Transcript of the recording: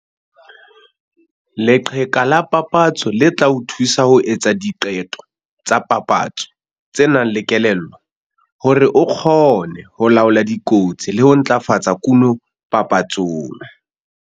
Leqheka la papatso le tla o thusa ho etsa diqeto tsa papatso tse nang le kelello, hore o kgone ho laola dikotsi le ho ntlafatsa kuno papatsong.